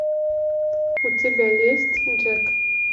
у тебя есть джек